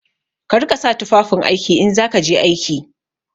Ka riƙa sa tufafin aiki in za ka je aiki!